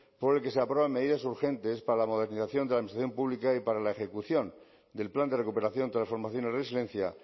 por el que se aprueban medidas urgentes para la modernización de la administración pública y para la ejecución del plan de recuperación transformación y resiliencia